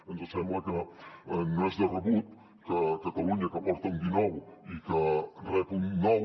ens sembla que no és de rebut que catalunya que aporta un dinou i que rep un nou